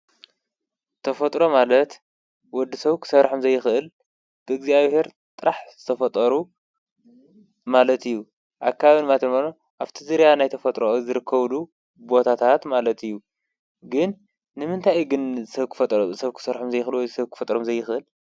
ተፈጥሮ ማለት ወዲ ሰብ ክሰርሖም ዘይኽእል ብእግዚኣብሔር ጥራሕ ዝተፈጠሩ ማለት እዩ፡፡ ኣካበቢ ማለት ድማ ኣብቲ ዙርያ ናይ ተፈጥሮ ዝርከራሉ ቦታታት ማለት እዩ፡፡ ግን ንምንታይ ግን ሰብ ክሰርሖም ዘይኽእል ወይ ሰብ ክፈጠሮም ዘይኽእል?